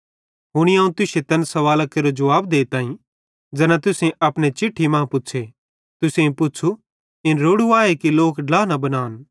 हुनी अवं तुश्शे तैन सवालां केरो जुवाब देताईं ज़ैना तुसेईं अपने चिट्ठी मां पुच़्छ़े तुसेईं पुच़्छ़ू इन रोड़ू आए कि लोक ड्ला न बनान